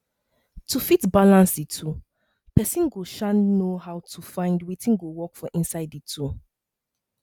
to fit balance di two person go um know how to find wetin fit work for inside di two